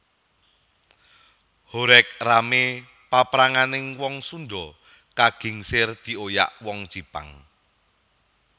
Horeg ramé papranganing wong Sundha kagingsir dioyak wong Jipang